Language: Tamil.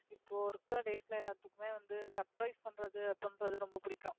இப்போ இருக்க எல்லாத்துக்குமே வந்து surprise பண்றது அப்படின்றது ரொம்ப பிடிக்கும்.